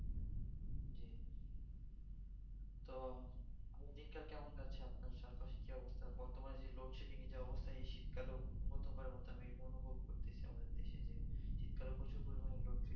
তো দিনকাল কেমন কাটছে আপনার চারপাশে কি অবস্থা বর্তমানে যে load shedding এর যা অবস্থা এই শীতকালেও গতবারের মতন আমি অনুভব করতেছি আমাদের দেশে যে শীতকালে প্রচুর পরিমানে load shedding